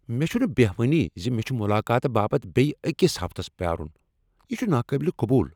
مےٚ چھنہٕ بیہوانٕے ز مےٚ چھ ملاقاتہٕ باپت بیٚیہ أکس ہفتس پیارن۔ یہٕ چھ ناقابل قبول۔